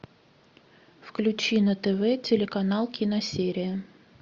включи на тв телеканал киносерия